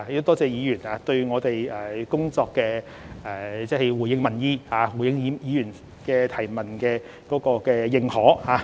多謝議員對我們的工作，即回應民意、回應議員質詢的認同。